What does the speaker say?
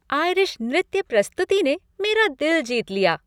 Irish नृत्य प्रस्तुति ने मेरा दिल जीत लिया।